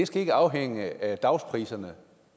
skal afhænge af dagspriserne